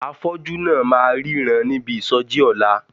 Afọ́jú náà máa ríran níbi ìsọjí ọ̀la.